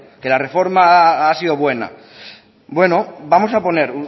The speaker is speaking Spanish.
que la reforma ha sido buena bueno vamos a poner